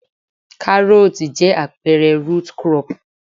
Karooti jẹ́ àpẹẹrẹ root crop.